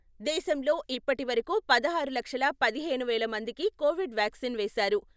దేశంలో ఇప్పటి వరకు పదహారు లక్షల పదిహేను వేల మందికి కోవిడ్ వ్యాక్సిన్ వేశారు.